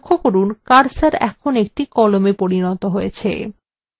লক্ষ্য করুন cursor এখন একটি কলমa পরিণত হয়েছে